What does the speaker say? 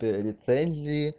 тэ лицензии